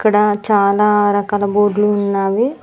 ఇక్కడ చాలా రకాల బోడ్లు ఉన్నావి.